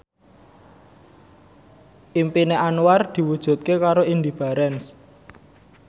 impine Anwar diwujudke karo Indy Barens